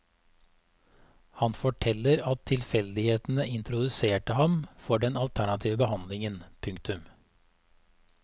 Han forteller at tilfeldighetene introduserte ham for den alternative behandlingen. punktum